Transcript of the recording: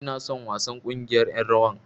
Ina son wasan ƙungiyar ƴan rawar.